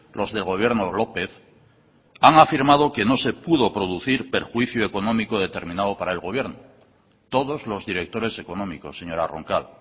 los del gobierno lópez han afirmado que no se pudo producir perjuicio económico determinado para el gobierno todos los directores económicos señora roncal